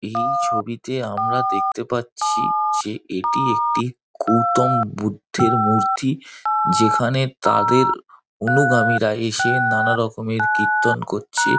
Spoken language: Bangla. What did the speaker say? এই ছবিতে আমরা দেখতে পাচ্ছি যে এটি একটি গৌতম বুদ্ধের মূর্তি। যেখানে তাঁদের অনুগামীরা এসে নানা রকমের কীর্তন করছে।